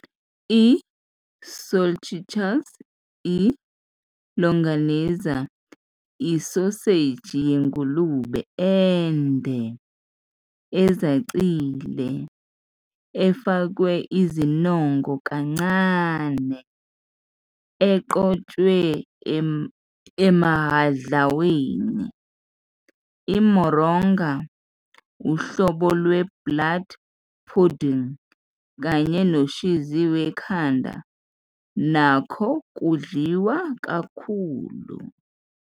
"I-Salchichas", i- "longaniza", isoseji yengulube ende, ezacile, efakwe izinongo kancane, eqoshwe emahhadlaweni, i- moronga, uhlobo lwe-blood pudding, kanye noshizi wekhanda nakho kudliwa kakhulu.